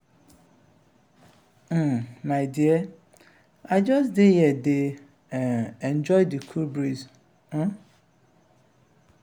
um my dear i just dey here dey um enjoy the cool breeze. um